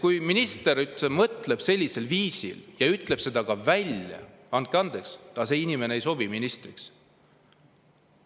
Kui juba minister mõtleb sellisel viisil ja ütleb selle ka välja, siis andke andeks, aga see inimene ei sobi ministriks.